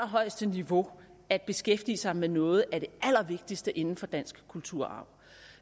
niveau at beskæftige sig med noget af det allervigtigste inden for dansk kulturarv